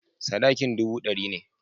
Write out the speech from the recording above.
Sadakin dubu ɗari ne.